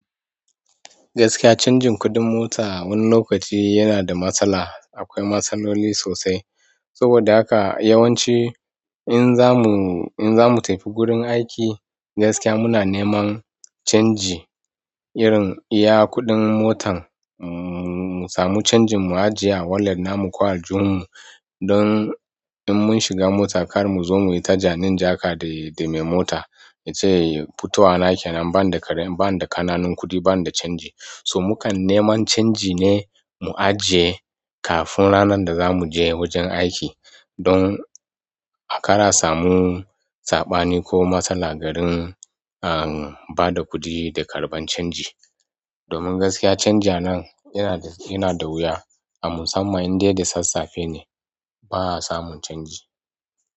Gaskiya canjin kuɗin mota wani lokaci yana da matsala. Akwai matsaloli sosai. Saboda haka yawanci in za mu, in za mu tafi gurin aiki gaskiya muna neman canji irin iya kuɗin motan, mu samu canjin mu ajiye a walat na mu ko aljihun mu don in mun shiga mota kar mu zo mu yi tajani in jaka da mai mota ya ce "fitowana kenan bani da ƙananun kuɗi, bani da canji". So mu kan neman canji ne mu ajiye kafin ranar da za mu je wajen aiki don a kar a samu saɓani ko matsala garin a ba da kuɗi da karɓan canji. Domin gaskiya canji a nan yana da wuya a musamman in dai da sassafe ne ba a samun canji.